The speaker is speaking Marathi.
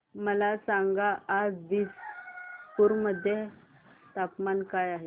मला सांगा आज दिसपूर मध्ये तापमान काय आहे